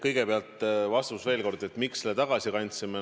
Kõigepealt veel kord vastus sellele, miks me selle tagasi kandsime.